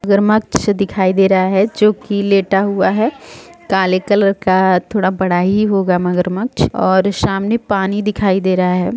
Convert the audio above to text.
मगरमच्छ दिखाई दे रहा है जो की लेटा हुआ काले कलर का थोड़ा बड़ा ही होगा मगरमच्छ और सामने पानी दिखाई दे रहा है।